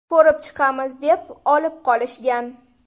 Ko‘rib chiqamiz, deb olib qolishgan.